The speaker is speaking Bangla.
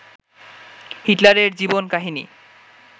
হিটলারের জীবন কাহিনী